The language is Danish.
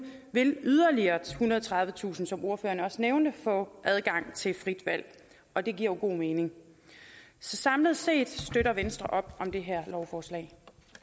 vil yderligere ethundrede og tredivetusind som ordføreren også nævnte få adgang til frit valg og det giver jo god mening så samlet set støtter venstre op om det her lovforslag